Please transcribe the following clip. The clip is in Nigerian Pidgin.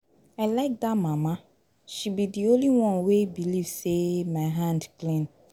I like dat mama, she be the only one wey believe say my hand clean.